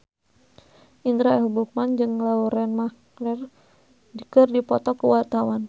Indra L. Bruggman jeung Lauren Maher keur dipoto ku wartawan